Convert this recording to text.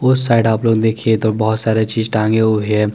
उस साइड आप लोग देखिये तो बोहोत सारे चीज़ टांगे हुए है।